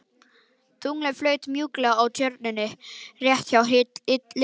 Tunglið flaut mjúklega á Tjörninni rétt hjá liljunni.